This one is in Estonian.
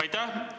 Aitäh!